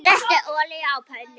Setjið olíu á pönnu.